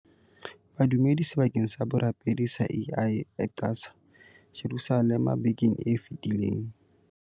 Badumedi sebakeng sa borapedi sa Al Aqsa, Jerusalema bekeng e fetileng.